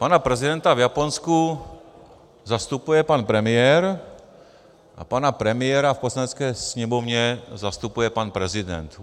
Pana prezidenta v Japonsku zastupuje pan premiér a pana premiéra v Poslanecké sněmovně zastupuje pan prezident.